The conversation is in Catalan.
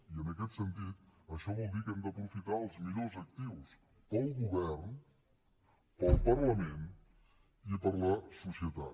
i en aquest sentit això vol dir que hem d’aprofitar els millors actius per al govern per al parlament i per a la societat